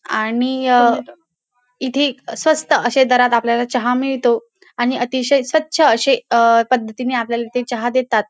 आणि अ इथे स्वस्त असे दरात आपल्याला चहा मिळतो आणि अतिशय स्वच्छ असे अ पद्धतीने आपल्याला ते चहा देतात.